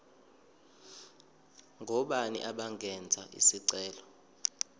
ngobani abangenza isicelo